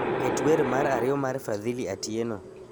Ket wer mar ariyo mar fadhili atieno